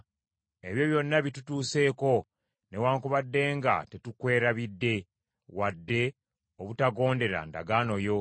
Ebyo byonna bitutuseeko, newaakubadde nga tetukwerabidde, wadde obutagondera ndagaano yo.